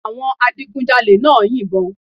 Àwọn adigunjalè náà ń yìnbọn